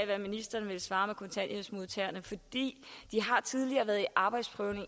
hvad ministeren ville svare kontanthjælpsmodtagerne de har tidligere været i arbejdsprøvning